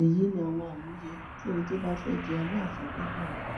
èyí ni àwọn àmúyẹ tí ẹni tó bá fẹẹ jẹ aláàfin gbọdọ ní